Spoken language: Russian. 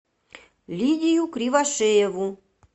лидию кривошееву